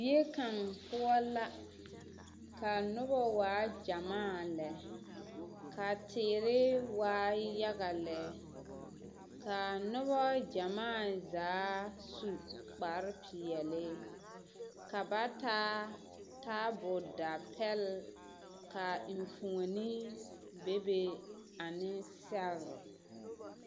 Zie kaŋ poɔ la ka a noba waa gyɛmaa lɛ ka teere waa yaga lɛ ka a noba gyɛmaa zaa su kpare peɛlle ka ba taa taabodapɛlle ka a eŋfuoni bebe ane sɛgre.